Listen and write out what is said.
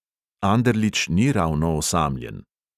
Anderlič ni ravno osamljen.